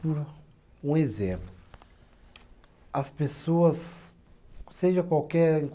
Por um exemplo, as pessoas, seja qualquer